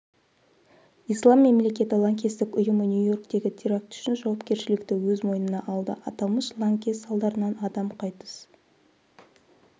ислам мемлекеті лаңкестік ұйымы нью-йорктегі теракт үшін жауапкерішлікті өз мойнына алды аталмыш лаңкес салдарынан адам қайтыс